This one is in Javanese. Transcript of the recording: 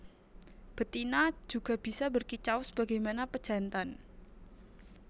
Betina juga bisa berkicau sebagaimana pejantan